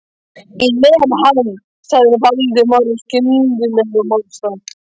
Ég lem hann. sagði Valdimar af skyndilegum ofsa